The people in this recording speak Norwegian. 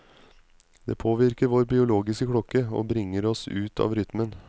Det påvirker vår biologiske klokke, og bringer oss ut av rytmen.